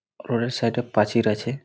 ওগোলোর side -এ প্রাচীর আছে |